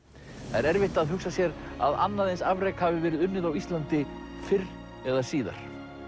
það er erfitt að hugsa sér að annað eins afrek hafi verið uninð á Íslandi fyrr eða síðar